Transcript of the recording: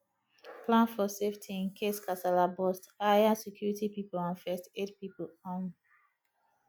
plan for safety incase kasala burst hire security pipo and first aid pipo um